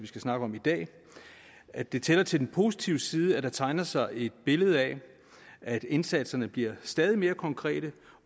skal snakke om i dag at det tæller til den positive side at der tegner sig et billede af at indsatserne bliver stadig mere konkrete